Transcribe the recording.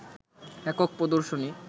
একক প্রদর্শনী